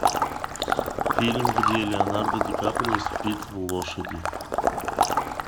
фильм где леонардо ди каприо спит в лошади